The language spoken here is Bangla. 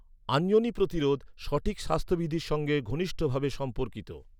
আঞ্জনি প্রতিরোধ, সঠিক স্বাস্থ্যবিধির সঙ্গে ঘনিষ্ঠভাবে সম্পর্কিত।